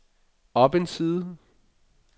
op en side